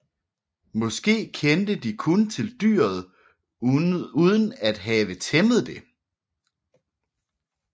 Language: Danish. Måske kendte de kun til dyret uden at have tæmmet det